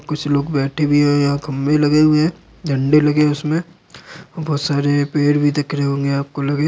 कुछ लोग बैठे भी हैं और यहाँ खम्बे लगे हुए हैं झंडे लगे हैं उसमें बहोत सारे पेड़ भी दिख रहे होंगे आपको लगे--